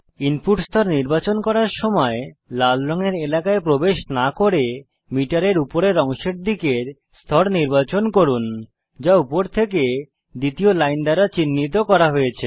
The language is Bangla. ইনপুট স্তর নির্বাচন করার সময় লাল রঙের এলাকায় প্রবেশ না করে মিটারের উপরের অংশের দিকের স্তর নির্বাচন করুন যা উপর থেকে দ্বিতীয় লাইন দ্বারা চিহ্নিত করা হয়েছে